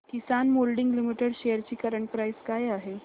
किसान moulding limited shares ची current price काय आहे